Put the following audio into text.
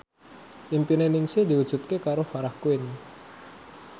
impine Ningsih diwujudke karo Farah Quinn